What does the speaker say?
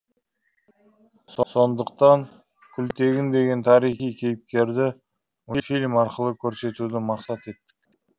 сондықтан күлтегін деген тарихи кейіпкерді мультфильм арқылы көрсетуді мақсат еттік